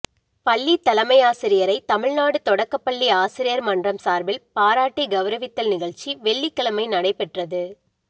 பள்ளி தலைமையாசிரியரை தமிழ்நாடு தொடக்கப் பள்ளி ஆசிரியா் மன்றம் சாா்பில் பாராட்டி கெளரவித்தல் நிகழ்ச்சி வெள்ளிக்கிழமை நடைபெற்றது